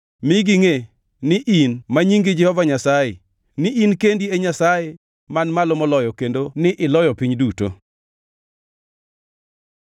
Mi gingʼe ni in, ma nyingi Jehova Nyasaye; ni in kendi e Nyasaye Man Malo Moloyo kendo ni iloyo piny duto.